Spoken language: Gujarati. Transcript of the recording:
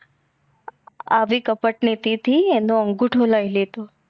આવી કપટનીતિ થી આનો અંગુઠો લઈ લીધો